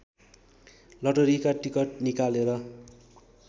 लटरीका ticket निकालेर